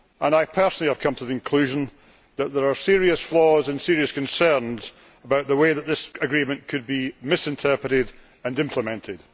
I personally have come to the conclusion that there are serious flaws and serious concerns about the way that this agreement could be misinterpreted and implemented.